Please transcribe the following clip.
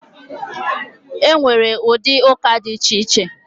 Enwere ụdị ụka dị iche iche